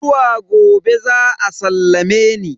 Zuwa gobe za a sallame ni.